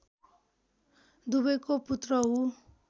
दुवैको पुत्र हूँ